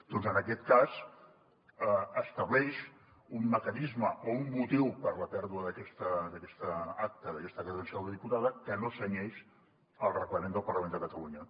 doncs en aquest cas estableix un mecanisme o un motiu per a la pèrdua d’aquesta acta d’aquesta credencial de diputada que no es cenyeix al reglament del parlament de catalunya